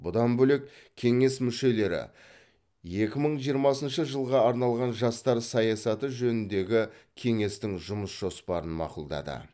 бұдан бөлек кеңес мүшелері екі мың жиырмасыншы жылға арналған жастар саясаты жөніндегі кеңестің жұмыс жоспарын мақұлдады